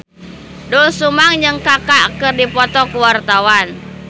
Doel Sumbang jeung Kaka keur dipoto ku wartawan